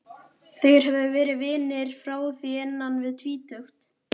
Þeir höfðu verið vinir frá því innan við tvítugt.